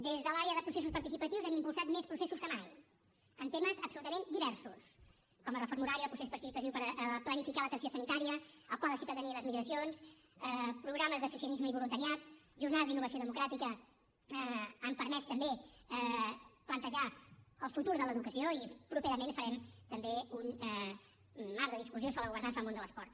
des de l’àrea de processos participatius hem impulsat més processos que mai en temes absolutament diversos com la reforma horària el procés participatiu per planificar l’atenció sanitària el pla de ciutadania i les migracions programes d’associacionisme i voluntariat jornades d’innovació democràtica han permès també plantejar el futur de l’educació i properament farem també un marc de discussió sobre la governança en el món de l’esport